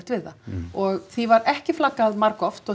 við það og því var ekki flaggað margoft og